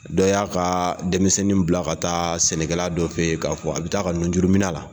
Dɔ y'a ka denmisɛnnin bila ka taa sɛnɛkɛla dɔ fɛ yen k'a fɔ a bɛ taa ka nujuruminɛ la